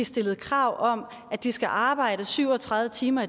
stillet krav om at de skal arbejde syv og tredive timer